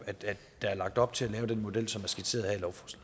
at der er lagt op til at lave den model som er skitseret her